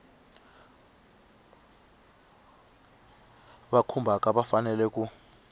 va khumbhaka va fanele ku